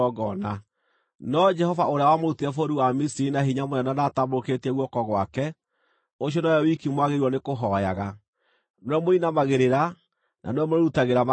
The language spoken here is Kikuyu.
No Jehova ũrĩa wamũrutire bũrũri wa Misiri na hinya mũnene na atambũrũkĩtie guoko gwake, ũcio nowe wiki mwagĩrĩirwo nĩkũhooyaga. Nĩwe mũrĩinamagĩrĩra, na nĩwe mũrĩrutagĩra magongona.